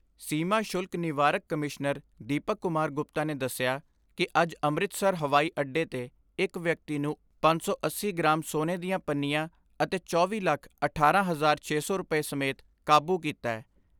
ਸੀਮਾ ਸ਼ੁਲਕ ਨਿਵਾਰਕ ਕਮਿਸ਼ਨਰ ਦੀਪਕ ਕੁਮਾਰ ਗੁਪਤਾ ਨੇ ਦਸਿਆ ਕਿ ਅੱਜ ਅੰਮ੍ਰਿਤਸਰ ਹਵਾਈ ਅੱਡੇ 'ਤੇ ਇਕ ਵਿਅਕਤੀ ਨੂੰ ਪੰਜ ਸੌ ਅੱਸੀ ਗਰਾਮ ਸੋਨੇ ਦੀਆਂ ਪੰਨੀਆਂ ਅਤੇ ਚੌਵੀ ਲੱਖ ਅਠਾਰਾਂ ਹਜ਼ਾਰਾਂ ਛੇ ਸੌ ਰੁਪੈ ਸਮੇਤ ਕਾਬੂ ਕੀਤੈ।